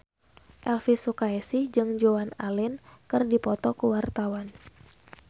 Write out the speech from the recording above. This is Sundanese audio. Elvi Sukaesih jeung Joan Allen keur dipoto ku wartawan